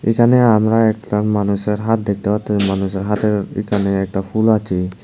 এখানে আমরা একটা মানুষের হাত দেখতে পারতেসি মানুষের হাতের এখানে একটা ফুল আছে।